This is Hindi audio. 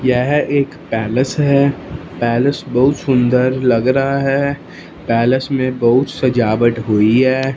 यह एक पैलेस है पैलेस बहुत सुंदर लग रहा है पैलेस में बहुत सजावट हुई हैं।